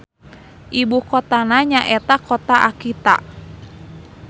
Ibukotana nyaeta Kota Akita.